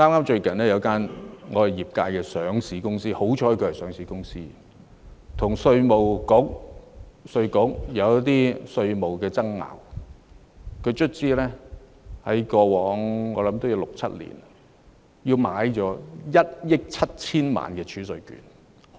最近業界有間上市公司——幸好它是上市公司——跟稅務局出現一些稅務爭議，最終在過去六七年購買了1億 7,000 萬元儲稅券。